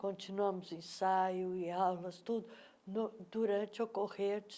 Continuamos ensaio e aulas, tudo, no durante o decorrer